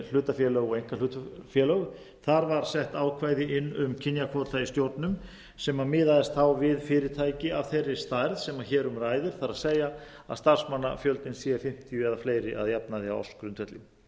hlutafélög og einkahlutafélög þar var sett ákvæði inn um kynjakvóta í stjórnum sem miðaðist þá við fyrirtæki af þeirri stærð sem hér um ræðir það er að starfsmannafjöldinn sé fimmtíu eða fleiri á ársgrundvelli